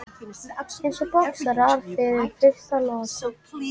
Eins og boxarar fyrir fyrstu lotu.